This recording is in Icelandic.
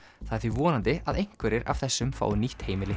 það er því vonandi að einhverjir af þessum fái nýtt heimili